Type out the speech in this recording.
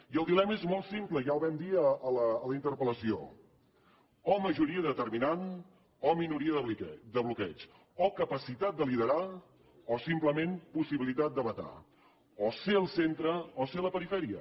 i el dilema és molt simple ja el vam dir a la interpellació o majoria determinant o minoria de bloqueig o capacitat de liderar o simplement possibilitat de vetar o ser el centre o ser la perifèria